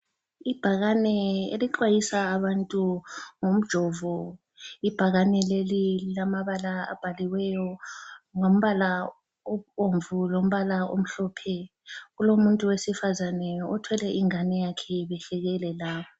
Ibhakane elixwayisa abantu ngomjovo , ibhakane leli lilamabala abhaliweyo ngombala obomvu lombala omhlophe , kulomuntu wesifazane othwele ingane yakhe behlekelela